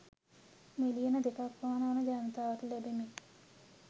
මිලියන දෙකක් පමණ වන ජනතාවට ලැබෙමින්